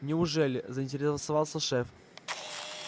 неужели заинтересовался шеф